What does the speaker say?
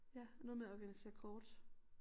Ja noget med at organisere kort